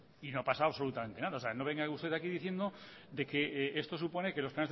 y no ha pasado absolutamente nada o sea no venga usted aquí diciendo que esto supone que los